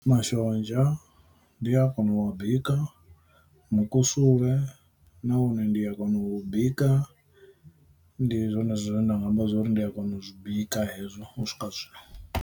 Mashonzha ndi a kona u bika, mukusule nawone ndi a kona u bika, ndi zwone zwine nda nga amba zwori ndi a kona u zwi bika hezwo u swika zwino.